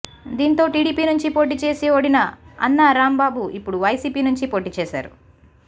దీంతో టీడీపీ నుంచి పోటీ చేసి ఓడిన అన్నా రాంబాబు ఇప్పుడు వైసీపీ నుంచి పోటీ చేశారు